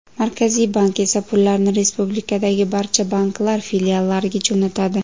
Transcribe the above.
Markaziy bank esa pullarni respublikadagi barcha banklar filiallariga jo‘natadi.